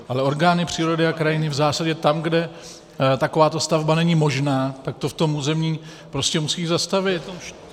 Ale orgány přírody a krajiny v zásadě tam, kde takováto stavba není možná, tak to v tom území prostě musí zastavit.